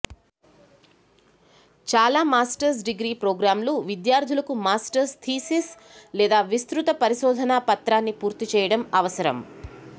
చాలా masters degree ప్రోగ్రామ్లు విద్యార్థులకు మాస్టర్స్ థీసిస్ లేదా విస్తృత పరిశోధనా పత్రాన్ని పూర్తిచేయడం అవసరం